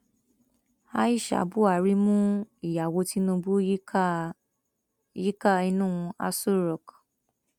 aisha buhari mú ìyàwó tinubu yíká yíká inú aṣọ rock